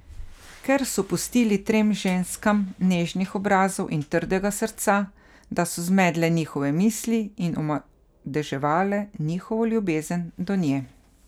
Ker so pustili tem ženskam nežnih obrazov in trdega srca, da so zmedle njihove misli in omadeževale njihovo ljubezen do nje.